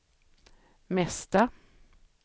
mesta